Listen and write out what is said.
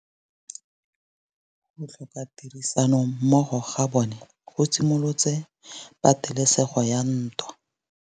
Go tlhoka tirsanommogo ga bone go simolotse patêlêsêgô ya ntwa.